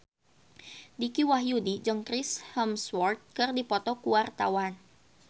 Dicky Wahyudi jeung Chris Hemsworth keur dipoto ku wartawan